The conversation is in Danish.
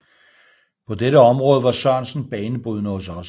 På dette område var Sørensen banebrydende hos os